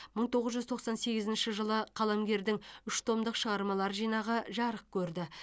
мың тоғыз жүз тоқсан сегізінші жылы қаламгердің үш томдық шығармалар жинағы жарық көрді